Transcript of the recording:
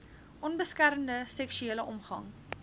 onbeskermde seksuele omgang